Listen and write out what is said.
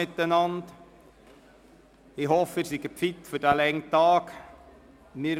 Ich hoffe, dass Sie fit für diesen langen Tag sind.